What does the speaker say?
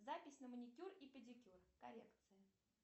запись на маникюр и педикюр коррекция